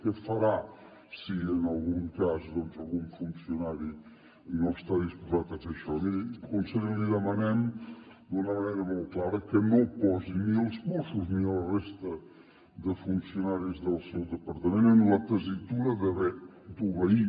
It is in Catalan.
què farà si en algun cas algun funcionari no està disposat a fer això miri conseller li demanem d’una manera molt clara que no posi ni els mossos ni la resta de funcionaris del seu departament en la tessitura d’haver d’obeir